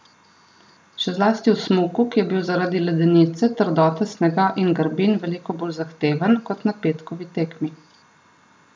Še zlasti v smuku, ki je bil zaradi ledenice, trdote snega in grbin, veliko bolj zahteven, kot na petkovi tekmi.